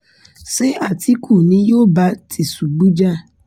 ṣé àtìkù ni yóò bá tìṣubù jà